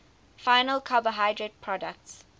final carbohydrate products